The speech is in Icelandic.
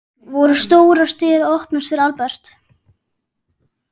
Voru stórar dyr að opnast fyrir Albert?